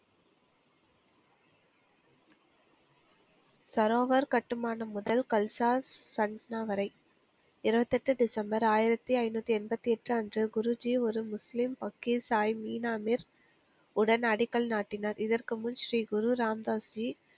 சரோவர் கட்டுமானம் முதல் கல்சாஸ் சந்தனா வரை இருபத்தி எட்டு டிசம்பர் ஆயிரத்தி ஐந்நூத்தி எண்பத்தி எட்டு அன்று குருஜி ஒரு முஸ்லிம் அகீஸ் சாயி மீனாமீர் உடன் அடிக்கல் நாட்டினார் இதற்கு முன் ஸ்ரீகுரு ராம்தாஸ்ரீ